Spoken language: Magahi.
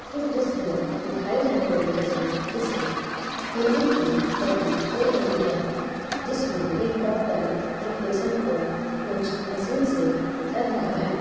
इस दृश्य में दिखाई जाने वाली तस्वीर किसी क्लिनिक की प्रतीत हो रही है जिसमें एक डॉक्टर एक पेशेंट को कुछ मशीन से कर रहा है।